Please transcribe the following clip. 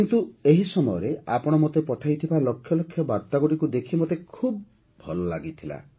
କିନ୍ତୁ ଏହି ସମୟରେ ଆପଣ ମୋତେ ପଠାଇଥିବା ଲକ୍ଷ ଲକ୍ଷ ବାର୍ତ୍ତାଗୁଡ଼ିକୁ ଦେଖି ମୋତେ ଖୁବ ଭଲ ମଧ୍ୟ ଲାଗିଲା